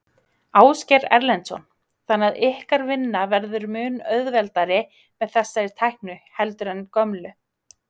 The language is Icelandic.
Ásgeir Erlendsson: Þannig að ykkar vinna verður mun auðveldari með þessari tækni heldur en gömlu?